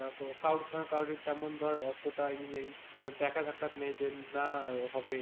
আহ কারোর সঙ্গে কারোর যেমন ধর অতটা ইয়ে নেই দেখা সাক্ষাৎ নেই যে না হবে,